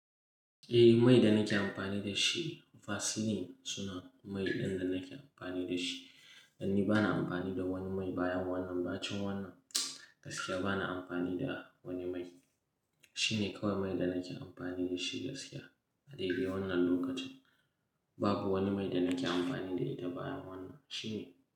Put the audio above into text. Eh, mai da nake amfani da shi Vaseline suna mai ɗin da nake amfani da shi. Dan ni bana amfani da wani mai bayan wannan. Ba cin wannan gaskiya bana amfani da wani mai. Shi ne kawai mai da nake amfani da shi gaskiya a dai dai wannan lokacin. Babu wani mai da nake amfani da ida bayan wannan. Shi ne.